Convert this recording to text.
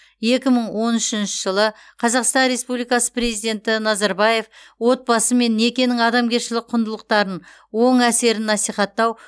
екі мың он үшінші жылы қазақстан республикасы президенті назарбаев отбасы мен некенің адамгершілік құндылықтарын оң әсерін насихаттау